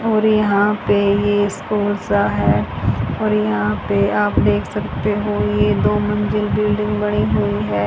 और यहां पे ये स्कूल सा है और यहां पे आप देख सकते हो ये दो मंजिल बिल्डिंग बनी हुई है।